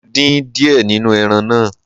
Mo dín díẹ̀ nínú ẹran náà.